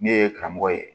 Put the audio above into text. Ne ye karamɔgɔ ye